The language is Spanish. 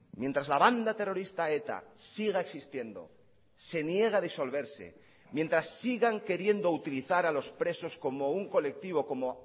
mientras la banda terrorista eta siga existiendo se niega a disolverse mientras sigan queriendo utilizar a los presos como un colectivo como